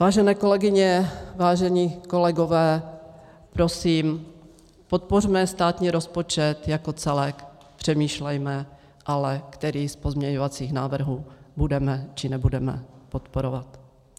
Vážené kolegyně, vážení kolegové, prosím, podpořme státní rozpočet jako celek, přemýšlejme ale, který z pozměňovacích návrhů budeme, či nebudeme podporovat.